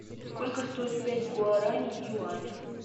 сколько стоит пять гуарани в юанях